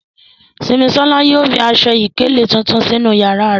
Simisola yóò fi aṣọ-ìkéle tuntun sinu yara rẹ